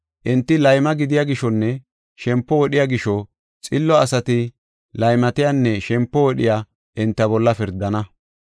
Enti layma gidiya gishonne shempo wodhiya gisho, xillo asati laymatiyanne shempo wodhiya enta bolla pirdana.